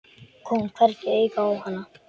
Kom hvergi auga á hana.